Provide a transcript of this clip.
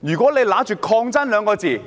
如果憑着"抗爭"二字